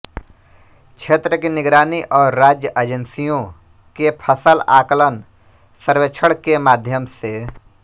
क्षेत्र की निगरानी और राज्य एजेंसियों के फसल आकलन सर्वेक्षण के माध्यम से